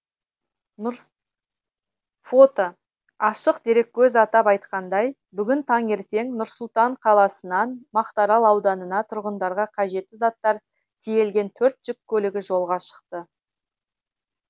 фото ашық дереккөзатап айтқанда бүгін таңертең нұр сұлтан қаласынан мақтаарал ауданына тұрғындарға қажетті заттар тиелген төрт жүк көлігі жолға шықты